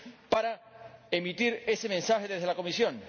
para emitir ese mensaje desde la Comisión.